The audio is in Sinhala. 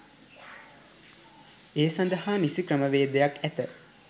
ඒ සඳහා නිසි ක්‍රමවේදයක් ඇත.